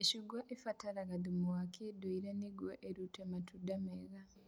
Mĩcungwa ĩbataraga thumu wa ũndũire nĩguo ĩrute matunda mega